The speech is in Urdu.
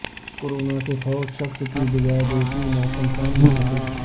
کورونا سے فوت شخص کی بجائے دوسری نعش شمشان منتقل